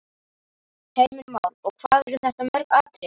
Heimir Már: Og hvað eru þetta mörg atriði?